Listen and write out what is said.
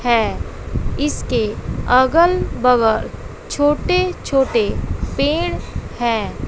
है इसके अगल बगल छोटे छोटे पेड़ हैं।